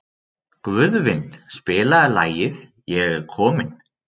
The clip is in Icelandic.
Guðvin, spilaðu lagið „Ég er kominn“.